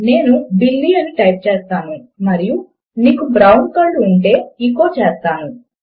నేను బిల్లీ అని టైప్ చేస్తాను మరియు నీకు బ్రౌన్ కళ్ళు ఉంటే ఎచో చేస్తాను